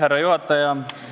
Härra juhataja!